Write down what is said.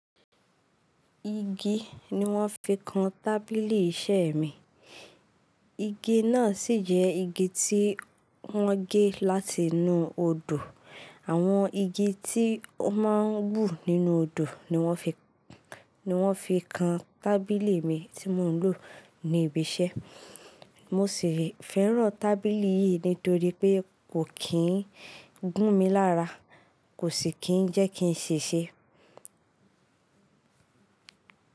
Igi ni wọ́n fi kan tábìlì iṣẹ́ mi. Igi náà sì jẹ́ igi tí wọ́n gé láti inú odò. Àwọn igi tí ó máa ń wù nínú odò ni wọ́n fi, ni wọ́n fi kan tábìlì mi tí mò ń lò ní ibi iṣẹ́. Mo sì fẹ́ràn tábìlì yìí nítorí pé kò kì ń gún mi lára, kò sì kí ń jẹ́ kí n ṣèṣe.